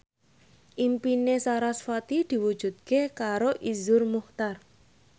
impine sarasvati diwujudke karo Iszur Muchtar